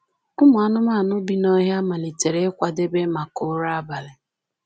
Ụmụ anụmanụ bi n’ọhịa malitere ịkwadebe maka ụra abalị